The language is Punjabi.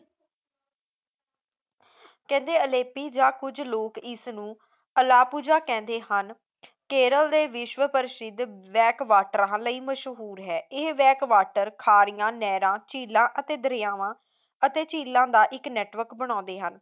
ਕਹਿੰਦੇ ਅਲੇਪੀ ਜਾਂ ਕੁਝ ਲੋਕ ਇਸਨੂੰ ਅਲਾਪੂਜਾ ਕਹਿੰਦੇ ਹਨ ਕੇਰਲ ਦੇ ਵਿਸ਼ਵ ਪ੍ਰਸਿੱਧ ਬੈਕ ਵਾਟਰ ਲਈ ਮਸ਼ਹੂਰ ਹੈ ਇਹ back water ਖਾੜਿਆਂ ਨਹਿਰਾਂ ਝੀਲਾਂ ਅਤੇ ਦਰਿਆਵਾਂ ਅਤੇ ਝੀਲਾਂ ਦਾ ਇੱਕ network ਬਣਾਉਂਦੇ ਹਨ